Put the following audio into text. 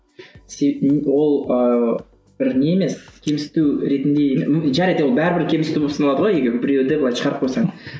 ол ыыы бір не емес кемсіту ретінде жарайды бәрібір кемсіту болып саналады ғой егер біреуді былай шығарып қойсаң